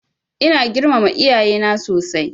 Ina girmama iyaye na sosai.